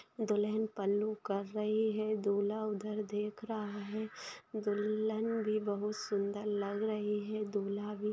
दुल्हन पल्लू कर रही है दूल्हा उधर देख रहा है दुल्हन भी बहुत सुंदर लग रही है। दूल्हा भी--